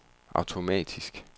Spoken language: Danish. automatisk